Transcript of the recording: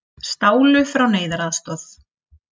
Stálu frá neyðaraðstoð